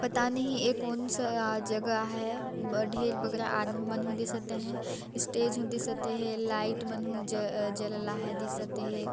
पता नहीं ये कौन सा जगह हे ढेर बकरा आदमी मनहु दिसत हे इस्टेज हु दिसत हे लाइट मनहु जलल लाहे दिसत हे ।